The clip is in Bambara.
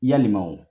Yalima o